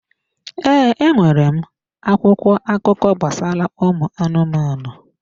Ee, e nwere m akwụkwọ akụkọ gbasara ụmụ anụmanụ.